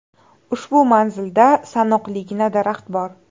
Ushbu manzilda sanoqligina daraxt bor.